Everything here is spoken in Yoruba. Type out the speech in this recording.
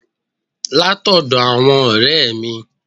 Látọ́dọ̀ àwọn n òré è mi